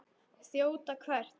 Þjóta hvert?